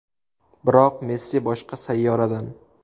Biroq Messi boshqa sayyoradan”.